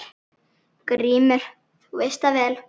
GRÍMUR: Þú veist það vel.